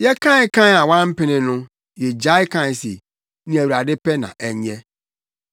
Yɛkae kae a wampene no yegyae kae se, “Nea Awurade pɛ na ɛnyɛ.”